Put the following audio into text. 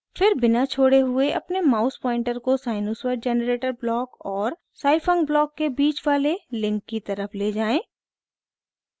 फिर बिना छोड़े हुए अपने माउस पॉइंटर को sinusoid generator ब्लॉक और scifunc ब्लॉक के बीच वाले लिंक की तरफ ले जाएँ